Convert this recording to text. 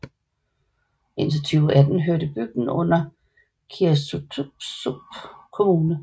Indtil 2018 hørte bygden under Qaasuitsup Kommune